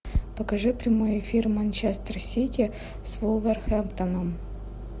покажи прямой эфир манчестер сити с вулверхэмптоном